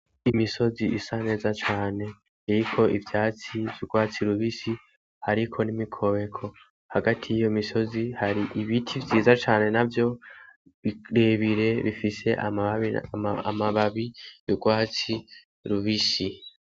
Imisozi isa neza cane iriko ivyatsi vy'ugwatsi rubisi hariko n'imikobeko hagati yiyo misozi hari ibiti vyiza cane navyo birebire bifise amababi y'ugwatsi rubisi